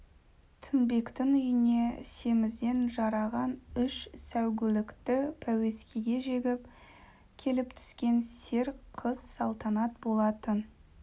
тінбектің үйіне семізден жараған үш сәйгүлікті пәуескеге жегіп келіп түскен сер қыз салтанат болатын